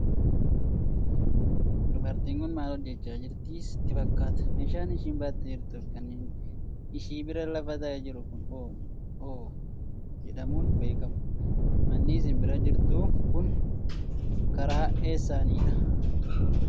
Dubartiin kun maal hojjechaa jirti sitti fakkaata? Meeshaan ishiin baattee jirtuu fi kan ishii bira lafa taa'ee jiru kun hoo jedhamuun beekamu? manni ishiin bira jirtu kun karaa eessaani dha?